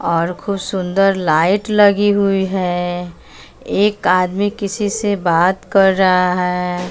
और खूब सुंदर लाइट लगी हुई है एक आदमी किसी से बात कर रहा है।